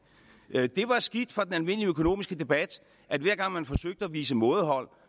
det var skidt for den almindelige økonomiske debat at hver gang man forsøgte at vise mådehold